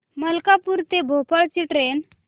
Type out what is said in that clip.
मलकापूर ते भोपाळ ची ट्रेन